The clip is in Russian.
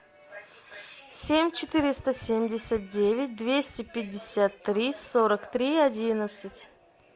семь четыреста семьдесят девять двести пятьдесят три сорок три одиннадцать